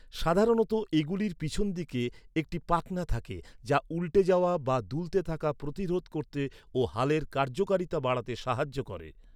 সাধারণত এগুলির পিছন দিকে একটি পাখনা থাকে, যা উল্টে যাওয়া বা দুলতে থাকা প্রতিরোধ করতে ও হালের কার্যকারিতা বাড়াতে সাহায্য করে।